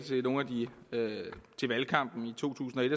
i valgkampen i to tusind og et